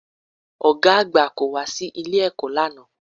Ọ̀gá àgbà kò wá sí ilé-ẹ̀kọ́ lánàá